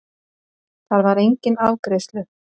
Þar var enginn afgreiðslu